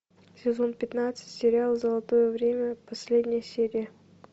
сезон пятнадцать сериал золотое время последняя серия